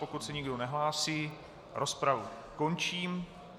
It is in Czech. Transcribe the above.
Pokud se nikdo nehlásí, rozpravu končím.